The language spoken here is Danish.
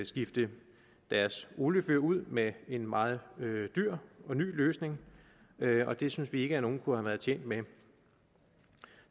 skifte deres oliefyr ud med en meget dyr og ny løsning og det synes vi ikke at nogen kunne have været tjent med